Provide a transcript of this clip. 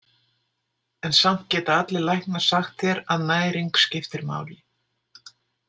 En samt geta allir læknar sagt þér að næring skiptir máli.